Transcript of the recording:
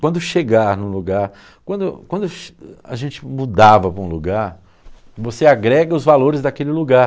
Quando chegar em um lugar, quando quando a gente mudava para um lugar, você agrega os valores daquele lugar.